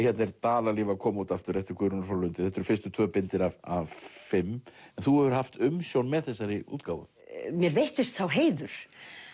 hérna er Dalalíf að koma út aftur eftir Guðrúnu frá Lundi þetta eru fyrstu tvö bindin af fimm en þú hefur haft umsjón með þessari útgáfu mér veittist sá heiður